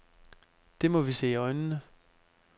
Det må vi se i øjnene.